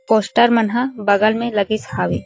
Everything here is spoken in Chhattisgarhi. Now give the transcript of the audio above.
पोस्टर मन ह बगल में लगिस हावे।